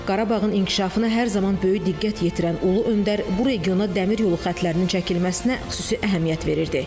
Qarabağın inkişafına hər zaman böyük diqqət yetirən Ulu öndər bu regiona Dəmir yolu xətlərinin çəkilməsinə xüsusi əhəmiyyət verirdi.